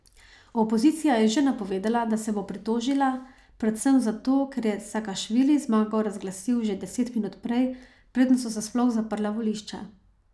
Opozicija je že napovedala, da se bo pritožila, predvsem zato, ker je Sakašvili zmago razglasil že deset minut prej, preden so se sploh zaprla volišča.